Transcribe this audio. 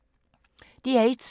DR1